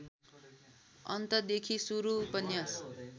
अन्तदेखि सुरु उपन्यास